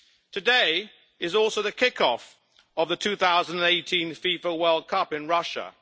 Today is also the kick off of the 2018 FIFA World Cup in Russia.